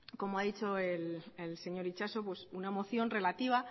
como ha dicho el señor itxaso una moción relativa